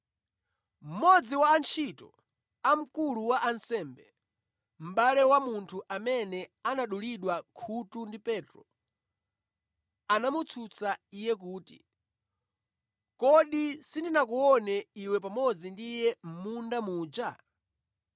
Mmodzi wa antchito a mkulu wa ansembe, mʼbale wa munthu amene anadulidwa khutu ndi Petro anamutsutsa iye kuti, “Kodi sindinakuone iwe pamodzi ndi Iye mʼmunda muja?”